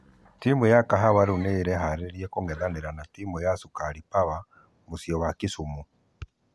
Timũ ya kahawa rĩu nĩeraharĩria kũngethanĩra na timũ ya sukari power mũciĩ wa kisumu.